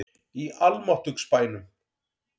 Í almáttugs bænum!